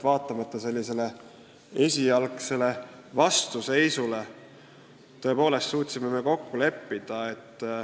Vaatamata esialgsele vastuseisule me suutsime kokku leppida.